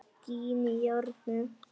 Skín í járnið.